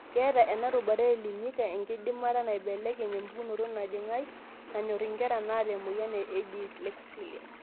Keeta ena rubata eElimika enkidimata naibelekeny empukunoto nejing' ai nanyor nkera naata emoyian edyslexia.